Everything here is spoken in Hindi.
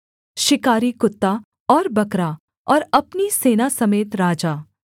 शिकारी कुत्ता और बकरा और अपनी सेना समेत राजा